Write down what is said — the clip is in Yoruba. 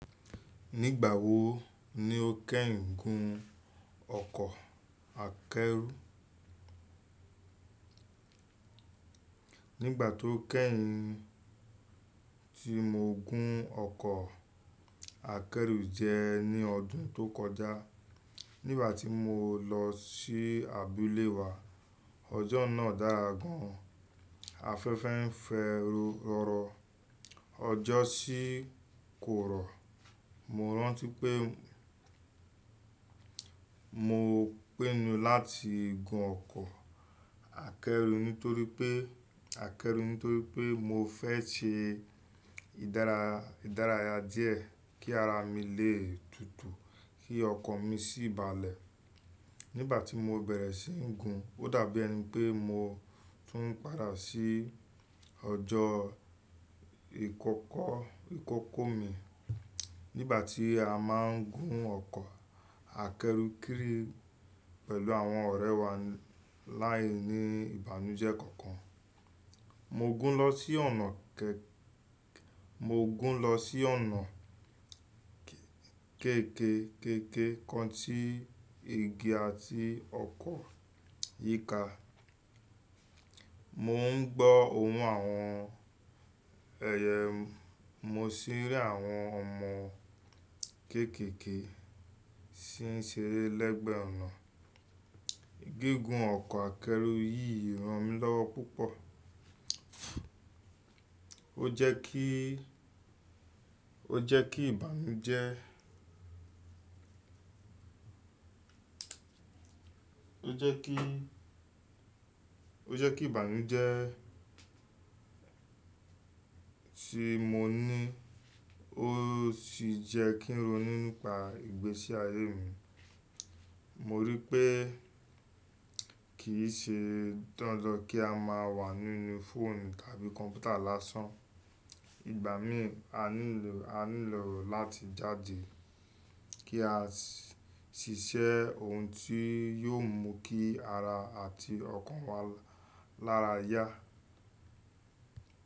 Nígbà wo ni o kẹ́hìn gun ọkọ̀ akẹ́rù? Nígbà tó kẹ́hìn tí mo gun ọkọ̀ akẹ́rù jẹ ní ọdún tó kọjá. Nígbà tí mo lọ sí abúlé wa, ọjọ́ náà dára gan an. Afẹ́fẹ́ ń fẹ́rọrọ, ọjọ́ sì korò. Mo rántí pé mo pinu láti gun ọkọ̀ akẹ́rù nítorí pé akẹ́rù nítorí pé mo fẹ́ se ìdárayà díẹ̀ kí ara mi lè tutù kí ọkàn mi sì balẹ̀. Nígbà tí mo bẹ̀rẹ̀ síi gùn, ó dàbí ẹni pé mo tún padà sí ọjọ́ ìkókó ìkókó mi. Nígbà tí a máa ń gun ọkọ̀ akẹ́rù kiri pẹ̀lú àwọn ọ̀rẹ́ wa láìní ìbànújẹ́ kankan. Mo gún lọ sí ọ̀nà kéèké kan ti igi àti ọkọ̀ yíka. Mo ń gbọ́ ohùn àwọn ẹyẹ, mo sì rí àwọn ọmọ kéékèé sin ṣeré lẹ́gbẹ̀ ọ̀nà. Gígùn ọkọ̀ akẹ́rù yìí rán mi lọ́wọ́ púpọ̀. Ó jẹ́ kí ìbànújẹ́. Ó jẹ́ kí ìbànújẹ́ tí mo ní ó sì jẹ́ kí n ronú nípa ìgbésí ayé mi. Mo rí i pé kì í ṣe dandan kí a máa wà nínú fóònù tàbí kọ̀mpútà lásán. Ìgbà míì a nílò láti jáde kí a ṣiṣẹ́ ohun tí yóò mú kí ara àti ọkàn wa lára yá.